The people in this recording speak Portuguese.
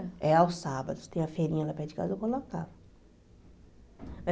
É aos sábados, tem a feirinha lá perto de casa, eu colocava.